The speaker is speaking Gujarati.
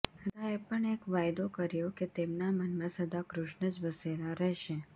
રાધાએ પણ એક વાયદો કર્યો કે તેમના મનમાં સદા કૃષ્ણજ વસેલાં રહેશે